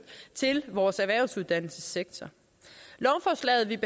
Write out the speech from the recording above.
til vores erhvervsuddannelsessektor lovforslaget vi